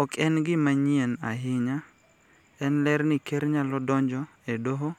Ok en gima manyien ahinya, en ler ni Ker nyalo donjo e Doho